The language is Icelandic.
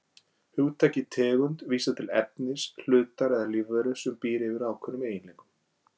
Hugtakið tegund vísar til efnis, hlutar eða lífveru sem býr yfir ákveðnum eiginleikum.